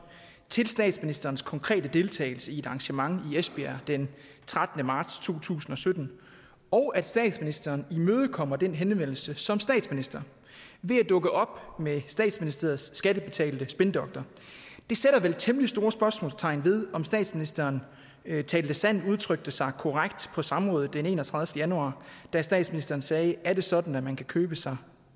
til statsministerens konkrete deltagelse i et arrangement i esbjerg den trettende marts to tusind og sytten og at statsministeren imødekommer den henvendelse som statsminister ved at dukke op med statsministeriets skattebetalte spindoktor sætter vel temmelig store spørgsmålstegn ved om statsministeren talte sandt udtrykte sig korrekt på samrådet den enogtredivete januar da statsministeren sagde er det sådan at man kan købe sig